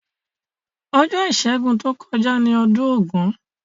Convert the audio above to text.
Ojó ìsẹ́gun to kojá ni odún ògún